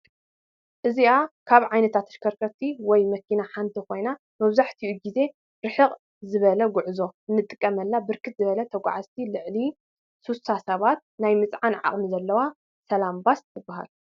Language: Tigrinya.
እዚአ ካብ ዓይነታት ተሽከርከርቲ ወይ መኪና ሐንቲ ኮይና መብዛሕትኡ ግዜ ርሕቅ ንዝበለ ጉዕዞ እንጥቀመላ ብርክት ዝበለ ተጓዕዚ ልዕሊ 60 ሰብ ናይ ምፅዓን ዓቅሚ ዘለዋ ሰላም ባስ ትበሃል።